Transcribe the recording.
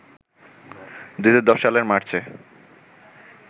২০১০ সালের মার্চে